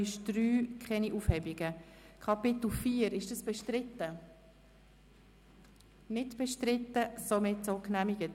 Möchte die Regierungsrätin am Anfang noch etwas sagen?